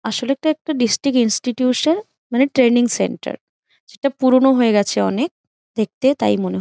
আসলে এটা একটা ডিস্ট্রিক্ট ইনস্টিটিউশন । মানে ট্রেনিং সেন্টার সেটা পুরোনো হয়ে গেছে অনেক দেখতে তাই মনে হ--